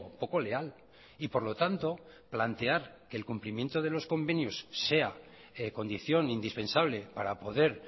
poco leal y por lo tanto plantear que el cumplimiento de los convenios sea condición indispensable para poder